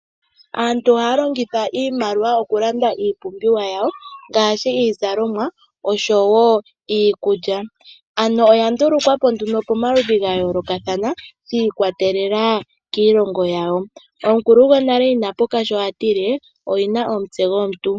Aantu ohaya longitha iimaliwa okulanda iipumbiwa yawo ngaashi iizalomwa oshowoo iikulya. Ano oya ndulukwapo nduno pomaludhi gayoolokathana, shiikwatelela kiilongo yawo. Omukulu gwonale inapuka sho atile oyina omutse gwomuntu.